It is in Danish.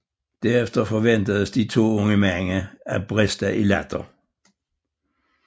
Derefter forventedes de to unge mænd at briste i latter